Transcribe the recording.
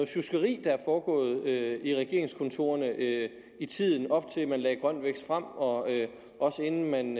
sjuskeri der er foregået i regeringskontorerne i tiden op til at man lagde grøn vækst frem og inden man